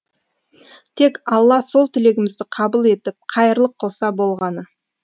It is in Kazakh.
тек алла сол тілегімізді қабыл етіп қайырлы қылса болғаны